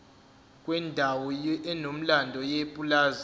kwendawo enomlando yepulazi